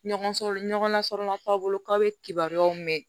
Ɲɔgɔn nasɔrɔla k'a bolo k'aw bɛ kibaruyaw mɛn